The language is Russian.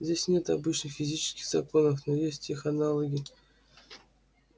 здесь нет обычных физических законов но есть их аналоги